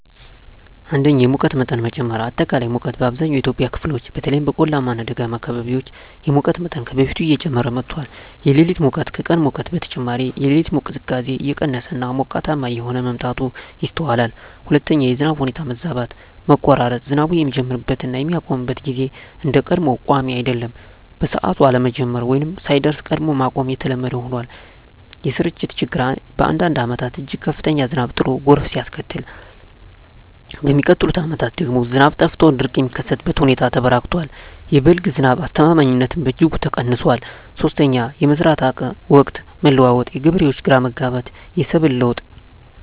1)የሙቀት መጠን መጨመር >>አጠቃላይ ሙቀት: በአብዛኛው የኢትዮጵያ ክፍሎች (በተለይም በቆላማ እና ደጋማ አካባቢዎች) የሙቀት መጠን ከበፊቱ እየጨመረ መጥቷል። >>የሌሊት ሙቀት: ከቀን ሙቀት በተጨማሪ፣ የሌሊት ቅዝቃዜ እየቀነሰ እና ሞቃታማ እየሆነ መምጣቱ ይስተዋላል። 2)የዝናብ ሁኔታ መዛባት >>መቆራረጥ: ዝናቡ የሚጀምርበት እና የሚያቆምበት ጊዜ እንደ ቀድሞው ቋሚ አይደለም። በሰዓቱ አለመጀመር ወይም ሳይደርስ ቀድሞ ማቆም የተለመደ ሆኗል። >>የስርጭት ችግር: በአንዳንድ ዓመታት እጅግ ከፍተኛ ዝናብ ጥሎ ጎርፍ ሲያስከትል፣ በሚቀጥሉት ዓመታት ደግሞ ዝናብ ጠፍቶ ድርቅ የሚከሰትበት ሁኔታ ተበራክቷል። የ"በልግ" ዝናብ አስተማማኝነትም በእጅጉ ቀንሷል። 3)የመዝራት ወቅት መለዋወጥ: የገበሬዎች ግራ መጋባት፣ የሰብል ለውጥ